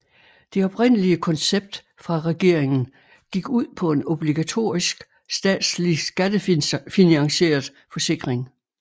Det oprindelige koncept fra regeringen gik ud på en obligatorisk statslig skattefinansieret forsikring